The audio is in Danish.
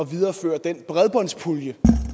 videreføre den bredbåndspulje